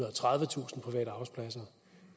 og tredivetusind private arbejdspladser